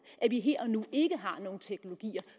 at vi her og nu ikke har nogen teknologier